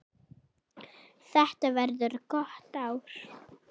Þetta verður gott ár.